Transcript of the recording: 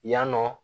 Yan nɔ